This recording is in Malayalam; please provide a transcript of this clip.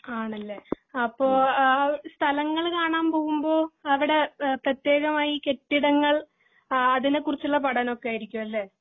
ആണല്ലേ അപ്പൊ ആഹ് സ്ഥലങ്ങൾ കാണാൻ പോവുമ്പോ അവിടെ പ്രത്യേകമായി കെട്ടിടങ്ങൾ അതിനെ കുറിച്ചുള്ള പഠനം ഒക്കെ ആയിരിക്കും അല്ലെ